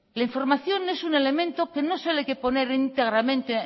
la información es un elemento que no solo hay que poner íntegramente